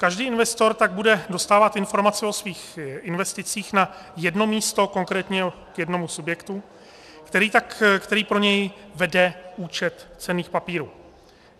Každý investor tak bude dostávat informace o svých investicích na jedno místo, konkrétně k jednomu subjektu, který pro něj vede účet cenných papírů.